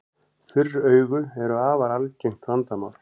Þurr augu eru afar algengt vandamál.